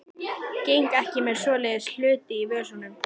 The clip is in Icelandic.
Geng ekki með svoleiðis hluti í vösunum.